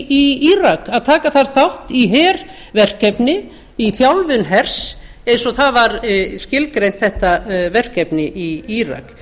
írak að taka þar þátt í herverkefni í þjálfun hers eins og þetta verkefni var skilgreint í írak